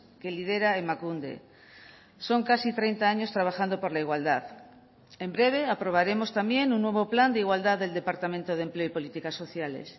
que lidera emakunde son casi treinta años trabajando por la igualdad en breve aprobaremos también un nuevo plan de igualdad del departamento de empleo y políticas sociales